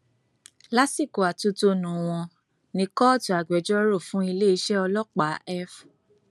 lásìkò atótónu wọn ni kóòtù agbẹjọrò fún iléeṣẹ ọlọpàá f